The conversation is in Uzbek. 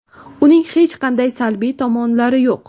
Uning hech qanday salbiy tomonlari yo‘q.